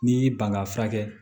N'i y'i ban ka fura kɛ